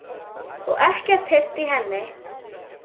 Og ekkert heyrt í henni?